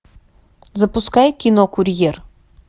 запускай кино курьер